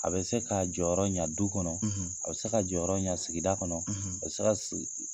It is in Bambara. A bɛ se k'a jɔyɔrɔ ɲa du kɔnɔ, a bɛ se ka jɔyɔrɔ ɲa sigida kɔnɔ, a bɛ se ka si